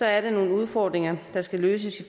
er der nogle udfordringer der skal løses